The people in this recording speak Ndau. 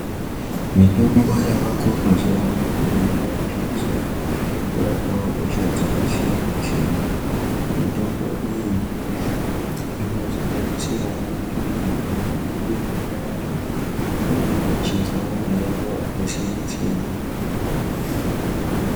Mitombo yavako mazuva ano iyi yakushandiswa kurapawo hosha dzakasiyana siyana mitombo iyi inosanganisirawo eya inodiwa nevantu vanenge vachinzwa mayayiyo akasiyana siyana.